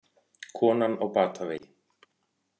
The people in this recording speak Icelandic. Konan á batavegi